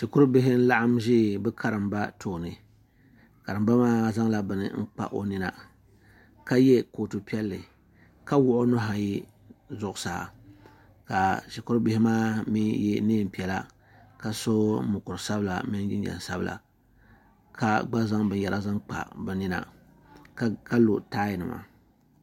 shikuru bihi n-laɣim ʒi bɛ karimba tooni karimba maa zaŋla bini n-kpa o nina is ye kootu piɛlli ka wuɣi nuhi ayi zuɣusaa ka shiiurru